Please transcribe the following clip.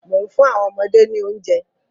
Mò ń fún àwọn ọmọdé ni oúnjẹ.